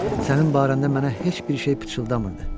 Sənin barəndə mənə heç bir şey pıçıldamırdı.